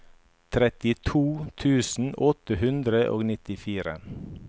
trettito tusen åtte hundre og nittifire